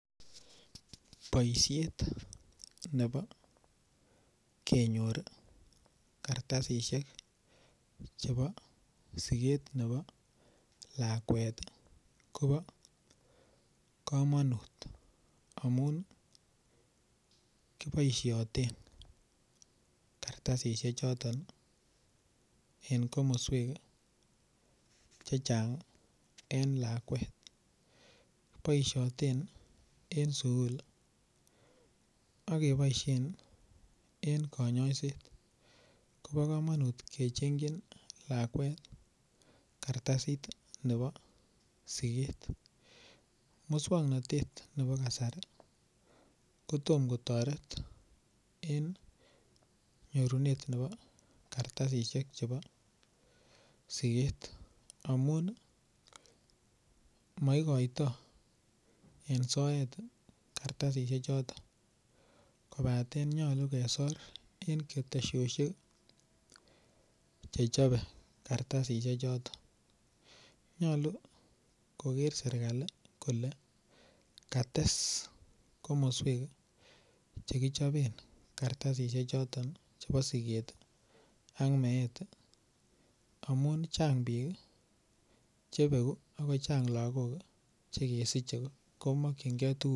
Boisiet nebo kenyor kartasisyek chebo siget nebo lakwet kobo kamanut amun kiboisioten kartasisyek choton en komoswek Che Chang en lakwet kiboisioten en sukul ak keboisien en kanyaiset ak keboisien en kanyaiset kobo kamanut kechengchin lakwet kartasit nebo siget moswoknatet nebo kasari ko tom kotoret en nyorunet nebo kartasisyek chebo siget amun maigotoi en soet kartasisiechoton kobaten nyolu kesor en ketosiosyek Che chobe. Kartasisiechoton nyolu koker serkali kole kates komoswek Che kichoben kartasisiechoton chebo siget ak meet ak chang bik chebegu ak kochang lagok Che kisiche komakyinge tuguchuton